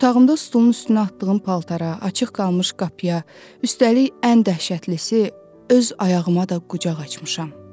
Otağımda stulun üstünə atdığım paltara, açıq qalmış qapıya, üstəlik ən dəhşətlisi öz ayağıma da qucaq açmışam.